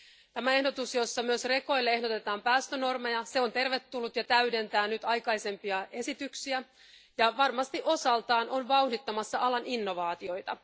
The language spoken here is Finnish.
Tämä ehdotus, jossa myös rekoille ehdotetaan päästönormeja, on tervetullut ja täydentää aikaisempia esityksiä ja on varmasti osaltaan vauhdittamassa alan innovaatioita.